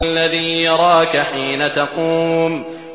الَّذِي يَرَاكَ حِينَ تَقُومُ